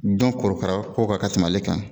Dɔn korokara ko kan ka tɛmɛ ale kan